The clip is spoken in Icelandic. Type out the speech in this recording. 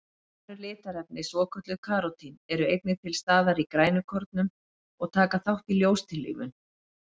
Önnur litarefni, svokölluð karótín, eru einnig til staðar í grænukornum og taka þátt í ljóstillífun.